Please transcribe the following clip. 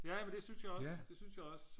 jamen det synes jeg også det synes jeg også